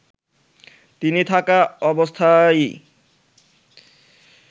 তিনি থাকা অবস্থায়ই